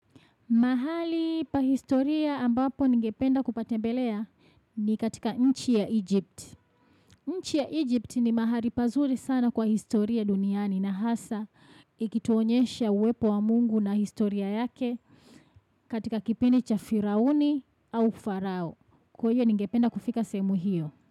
Mahali pa historia ambapo ningependa kupatembelea ni katika nchi ya Egypt. Nchi ya Egypt ni mahali pazuri sana kwa historia duniani na hasa. Ikituonyesha uwepo wa Mungu na historia yake katika kipindi cha firauni au pharaoh. Kwaiyo ningependa kufika sehemu hiyo.